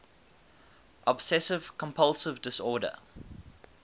obsessive compulsive disorder